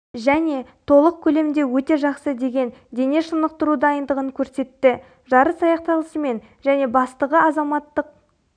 және толық көлемде өте жақсы деген дене шынықтыру дайындығын көрсетті жарыс аяқталысымен және бастығы азаматтық